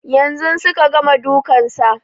Yanzun suka gama dukan sa